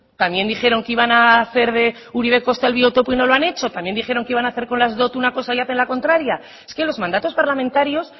también dijeron que iban a hacer de uribe kosta el biotopo y no lo han hecho también dijeron que iban a hacer con las dot una cosa y hacen la contraria es que los mandatos parlamentarios